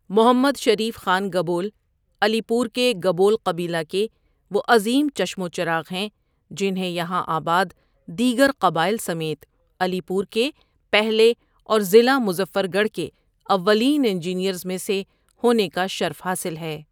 محمد Sharif Khan Gabol, Alipur کے گبول قبیلہ کے وہ عظیم چشم و چراغ ہیں جنھیں یہاں آباد دیگر قبائل سمیت علی پور کے پہلے اور ضلع مظفر گڑھ کے اوّلین انجینئرز میں سے ہونے کا شرف حاصل ہے۔